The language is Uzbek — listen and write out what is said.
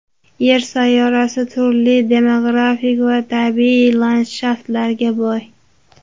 Yer sayyorasi turli demografik va tabiiy landshaftlarga boy.